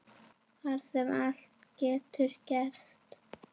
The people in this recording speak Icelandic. Þar sem allt getur gerst.